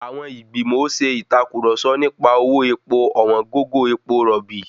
Àwọn ìgbìmò ṣe ìtàkurọ̀sọ nipa owó epo ọ̀wọ́n gógó epo rọ̀bì.